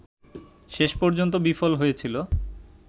শেষ পর্যন্ত বিফল হয়েছিল